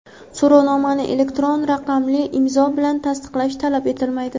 So‘rovnomani elektron raqamli imzo bilan tasdiqlash talab etilmaydi.